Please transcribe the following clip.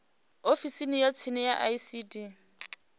ofisini ya tsini ya icd